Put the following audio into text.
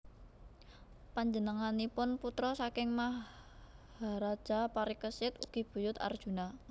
Panjenenganipun putra saking Maharaja Parikesit ugi buyut Arjuna